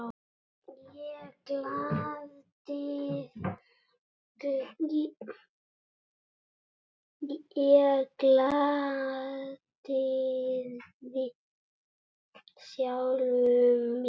Ég glataði sjálfum mér.